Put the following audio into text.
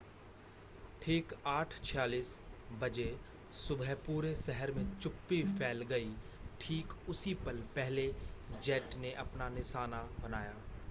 ठीक 8:46 बजे सुबह पूरे शहर मे चुप्पी फैल गई ठीक उसी पल पहले जेट ने अपना निशाना बनाया